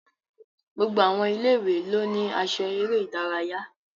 Gbogbo àwọn ilé-ìwé ló ní aṣọ eré ìdárayá